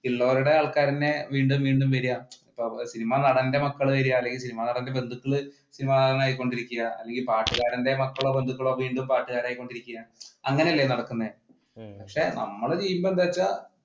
ഉള്ളവരുടെ ആൾക്കാർ തന്നെ വീണ്ടും വീണ്ടും വരിക സിനിമ നടന്റെ മക്കൾ വരുക, അല്ലെങ്കിൽ സിനിമ നടന്റെ ബന്ധുക്കൾ സിനിമ നടൻ ആയികൊണ്ടിരിക്കുക, അല്ലെങ്കിൽ പാട്ടുകാരന്റെ മക്കളോ ബന്ധുക്കളോ പാട്ടുകാരായി കൊണ്ടിരിക്കുക അങ്ങനെയല്ലേ നടക്കുന്നത് പക്ഷെ നമ്മൾ ചെയ്യുമ്പോൾ എന്താണെന്ന് വെച്ചാൽ